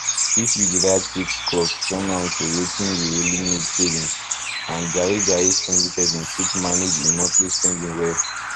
if you divide fixed cost turn am to watin you really need savings and jaye jaye spendingperson fit manage im monthly spending well